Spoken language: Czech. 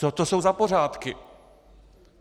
Co to jsou za pořádky?